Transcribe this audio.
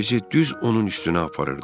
Axın bizi düz onun üstünə aparırdı.